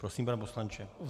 Prosím, pane poslanče.